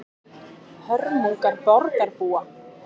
Hörmungar borgarbúa